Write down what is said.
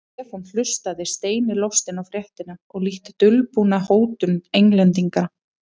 Stefán hlustaði steini lostinn á fréttina og lítt dulbúna hótun Englendinga.